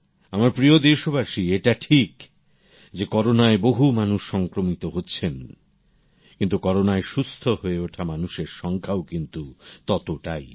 আমার প্রিয় দেশবাসীএটা ঠিক যে করোনায় বহু মানুষ সংক্রমিত হচ্ছেন কিন্তু করোনায় সুস্থ হয়ে ওঠা মানুষের সংখ্যাও কিন্তু ততোটাই